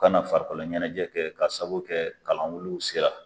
Kana farikolo ɲɛnajɛ kɛ ka sababu kɛ kalanwuliw se la.